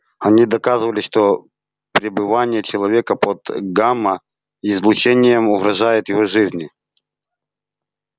они доказывали что пребывание человека под гамма излучением угрожает его жизни